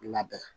Labɛn